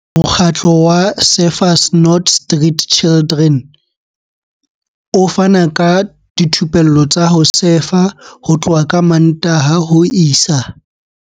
Mokgatlo wa Surfers Not Street Chidren o fana ka dithupelo tsa ho sefa ho tloha ka Mmantaha ho isa.